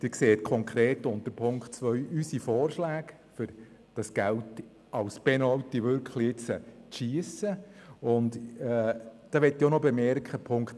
Sie sehen konkret unter Punkt 2 unsere Vorschläge, wie dieser Penalty zu schiessen, wie dieses Geld zu verwenden ist.